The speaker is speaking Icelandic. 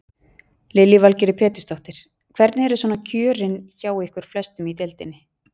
Lillý Valgerður Pétursdóttir: Hvernig eru svona kjörin hjá ykkur flestum í deildinni?